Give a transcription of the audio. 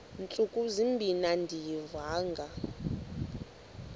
ntsuku zimbin andiyivanga